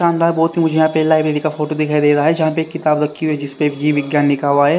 शानदार बहुत ही मुझे यहां पे लाइब्रेरी का फोटो दिखाई दे रहा है जहां पे एक किताब रखी हुई है जिसपे जीव विज्ञान लिखा हुआ है।